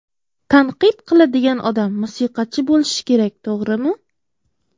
Tanqid qiladigan odam musiqachi bo‘lishi kerak to‘g‘rimi?